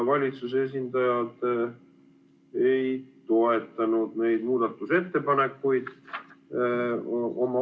Valitsuse esindaja ei toetanud neid muudatusettepanekuid.